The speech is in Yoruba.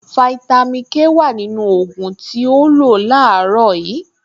Fáítámì Ké wà nínú ògùn tí o lò láàárọ̀ yìí